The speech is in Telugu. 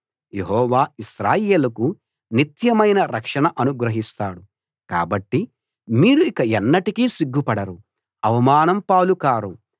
యెహోవా ఇశ్రాయేలుకు నిత్యమైన రక్షణ అనుగ్రహిస్తాడు కాబట్టి మీరు ఇక ఎన్నటికీ సిగ్గుపడరు అవమానం పాలు కారు